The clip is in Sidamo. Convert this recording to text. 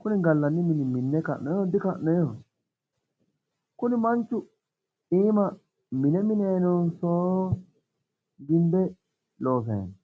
kuni gallanni mini minne ka'noyiihonso dika'noyiiho? kuni manchu iima mine minayi noonso gimbe loosayi no?